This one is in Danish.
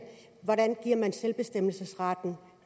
hvordan giver man selvbestemmelsesretten